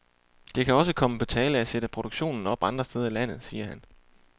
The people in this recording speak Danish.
Det kan også komme på tale at sætte produktion op andre steder i landet, siger han.